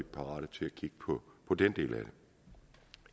parat til at kigge på den del af det